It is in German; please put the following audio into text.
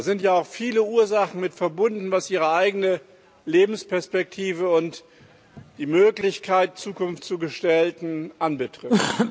Da sind ja auch viele Ursachen mit verbunden, was ihre eigene Lebensperspektive und die Möglichkeit, Zukunft zu gestalten, anbetrifft.